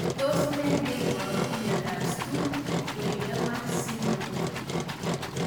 Tos nee neiparu miondop Stuve Wiedemann syndrome